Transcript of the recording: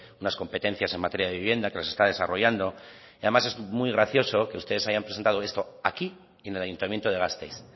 unas competencias en materia de vivienda que las está desarrollando además es muy gracioso que ustedes hayan presentado esto aquí y en el ayuntamiento de gasteiz